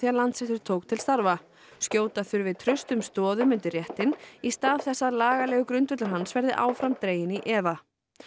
Landsréttur tók til starfa skjóta þurfi traustum stoðum undir réttinn í stað þess að lagalegur grundvöllur hans verði áfram dreginn í efa